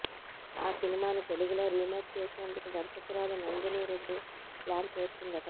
ఆ సినిమాను తెలుగులో రీమేక్ చేసేందుకు దర్శకురాలు నందిని రెడ్డి ప్లాన్ చేస్తోందట